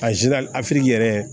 afiriki yɛrɛ